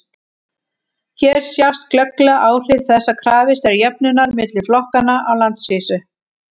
hér sjást glögglega áhrif þess að krafist er jöfnunar milli flokkanna á landsvísu